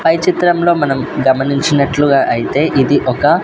పై చిత్రంలో మనం గమనించినట్లుగా అయితే ఇది ఒక.